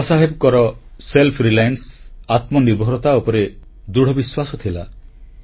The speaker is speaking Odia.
ବାବା ସାହେବଙ୍କର ସ୍ୱାବଲମ୍ବୀ ଭାବନା ଆତ୍ମନିର୍ଭରତା ଉପରେ ଦୃଢ଼ବିଶ୍ୱାସ ଥିଲା